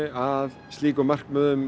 að slíkum markmiðum